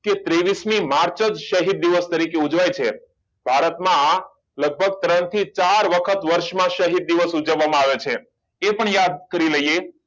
કે ત્રેવીસ મી માર્ચ જ શહીદ દિવસ તરીકે ઉજવાય છે ભારત માં લગભગ ત્રણ થી ચાર વખત શહીદ દિવસ ઉજવવામાં આવે છે તે પણ યાદ કરી લઈએ